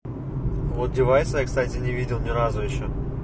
одевайся кстати видел ни разу ещё